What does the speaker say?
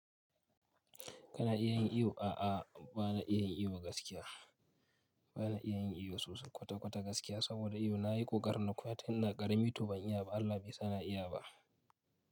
Kana iya yin iyo? A'a, ba na iya yin iyo gaskiya. Ba na iya yin iyo sosai kwata-kwata gaskiya saboda iyo na yi ko ƙoƙarin na koya tun ina ƙarami, to ban iya ba, Allah baisa na iya ba.